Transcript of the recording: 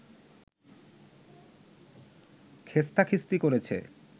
খেস্তাখিস্তি করেছে